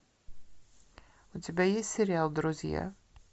у тебя есть сериал друзья